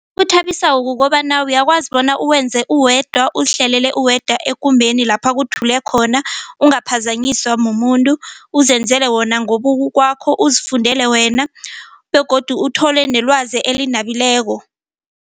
Ekuthabisako kukobana uyakwazi bona uwenze uwedwa uzihlalele uwedwa ekumbeni lapha kuthule khona ungaphazanyiswa mumuntu uzenzele wona ngobukwakho uzifundile wena begodu uthole nelwazi elinabileko.